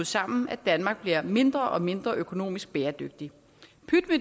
sammen at danmark bliver mindre og mindre økonomisk bæredygtigt